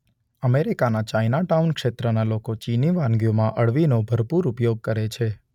અમેરિકાના ચાઈનાટાઊન ક્ષેત્રના લોકો ચીની વાનગીઓમાં અળવીનો ભરપૂર ઉપયોગ કરે છે.